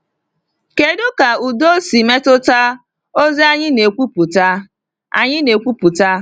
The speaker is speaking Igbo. Kedu ka udo si metụta ozi anyị na-ekwupụta? anyị na-ekwupụta?